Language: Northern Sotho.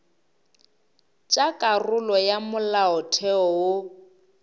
tša karolo ya molaotheo wo